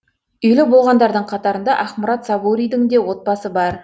үйлі болғандардың қатарында ақмұрат сабуридің де отбасы бар